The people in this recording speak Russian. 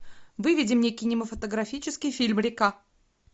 выведи мне кинематографический фильм река